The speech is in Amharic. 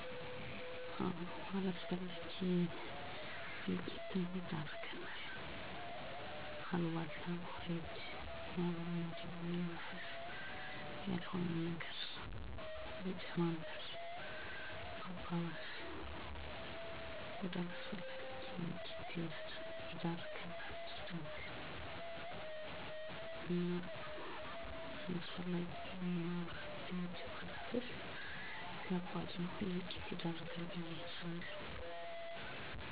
ማህበራዊ ሚዲያ አለመግባባቶችን ያባብሳል? አዎ ያባብሳል ምክንያቱም ማህበራዊ ሚዲያ የሀገርን ገፅታ የምናሳይበት ታሪክና ትውፊቷን የምናጎላበት ከሆነ ጠቃሚ ነው ነገር ግን ያለንን ወግ ባህል እምነት ብሔር እንደክፍተት ተጠቅመን እየሰነጠቅን ካራመድነው ወደ አላስፈላጊ እልቂት ወደ ማንወጣው አዘቅት ይከተናል የለጥሩ ነገር ካልተጠቀምንበት ቤተሰብ ሀገር እንዲፈርስ ያደርጋል አንድ ፖስት ወይም አስተያየት ወደ አላስፈላጊ ድራማ እንዴት እንደዞረ ለምሳሌ ጃዋር አህመድ አማራ መገደል አለበት ብሎ በመናገሩ በኦሮሚያ ክልል በአንድ ቀን 86 ንፁህ እትዮጵያን የተጨፈጨፉበት ይህ በማህበራዊ ሚዲያ የተላለፈ ነው